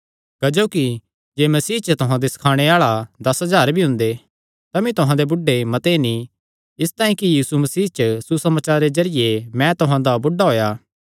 क्जोकि जे मसीह च तुहां दे सखाणे आल़े दस हज़ार भी हुंदे तमी तुहां दे बुढ़े मते नीं इसतांई कि यीशु मसीह च सुसमाचारे जरिये मैं तुहां दा बुढ़ा होएया